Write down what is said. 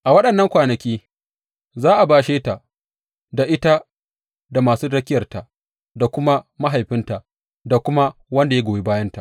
A waɗannan kwanaki za a bashe ta, da ita da masu rakiyarta da kuma mahaifinta da kuma wanda ya goyi bayanta.